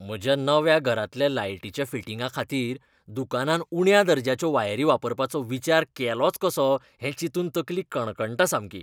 म्हज्या नव्या घरांतल्या लायटीच्या फिटिंगांखातीर दुकानान उण्या दर्ज्याच्यो वायरी वापरपाचो विचार केलोच कसो हें चिंतून तकली कणकणटा सामकी.